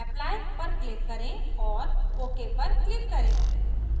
apply पर click करें और ok पर click करें